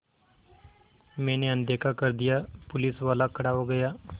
मैंने अनदेखा कर दिया पुलिसवाला खड़ा हो गया